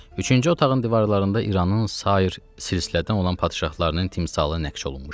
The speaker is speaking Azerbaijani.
Üçüncü otağın divarlarında İranın sair silsilədən olan padşahlarının timsalı nəqş olunmuşdu.